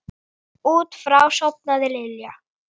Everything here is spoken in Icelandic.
Út frá því sofnaði Lilla.